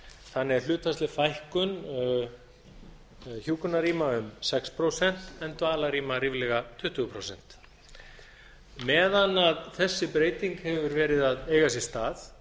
þannig að það er hlutfallsleg fækkun hjúkrunarrýma um sex prósent en dvalarrýma ríflega tuttugu prósent meðan þessi breyting hefur verið á eiga sér stað